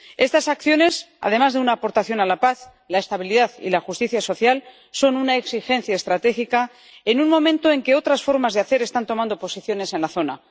Estas acciones, además de una aportación a la paz, la estabilidad y la justicia social, son una exigencia estratégica en un momento en que otras formas de hacer están tomando posiciones en la zona.